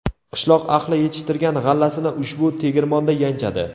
Qishloq ahli yetishtirgan g‘allasini ushbu tegirmonda yanchadi.